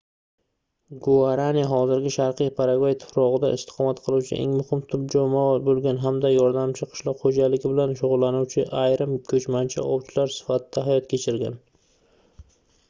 guarani hozirgi sharqiy paragvay tuprogʻida istiqomat qiluvchi eng muhim tub jamoa boʻlgan hamda yordamchi qishloq xoʻjaligi bilan shugʻullanuvchi yarim-koʻchmanchi ovchilar sifatida hayot kechirgan